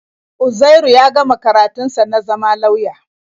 Uzairu ya gama karatun sa na zama lauya.